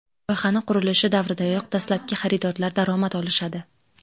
Loyihani qurilishi davridayoq dastlabki xaridorlar daromad olishadi.